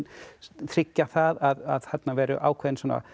tryggja það að þarna verði ákveðin